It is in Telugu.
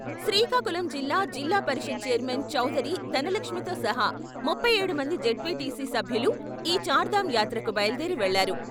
శ్రీకాకుళం జిల్లా, జిల్లా పరిషత్ చైర్మన్ చౌదరి ధనలక్ష్మితో సహా ముప్పై ఏడు మంది జెడ్పీటీసీ సభ్యులు ఈ చార్ధామ్ యాత్రకు బయలుదేరి వెళ్లారు.